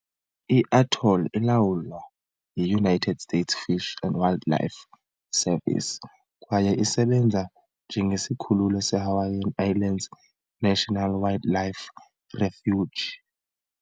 I-atoll ilawulwa yi-United States Fish and Wildlife Service kwaye isebenza njengesikhululo se -Hawaiian Islands National Wildlife Refuge .